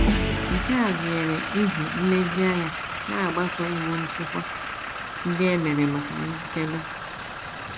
Nke a gụnyere iji nlezianya na - agbaso iwu nchịkwa ndị e mere maka nchebe.